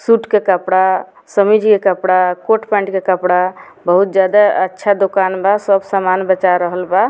सुट के कपड़ा समीज के कपड़ा कोट - पेन्ट के कपड़ा बहुत जादा अच्छा दोकान बा सब सामान बचाय रहल बा।